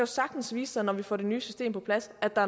sagtens vise sig når vi får det nye system på plads at der